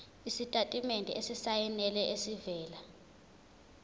isitatimende esisayinelwe esivela